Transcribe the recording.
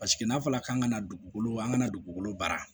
Paseke n'a fɔla k'an ka na dugukolo an kana dugukolo baara